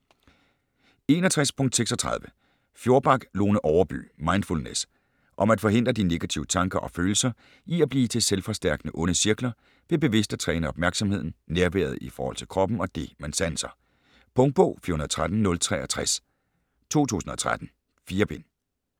61.36 Fjorback, Lone Overby: Mindfulness Om at forhindre de negative tanker og følelser i at blive til selvforstærkende onde cirkler, ved bevidst at træne opmærksomheden, nærværet i forhold til kroppen og det, man sanser. Punktbog 413063 2013. 4 bind.